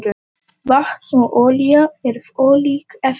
Vatn og olía eru ólík efni.